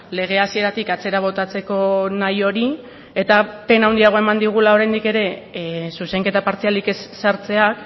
lege hasieratik atzera botatzeko nahi hori eta pena handiagoa eman digula oraindik ere zuzenketa partzialik ez sartzeak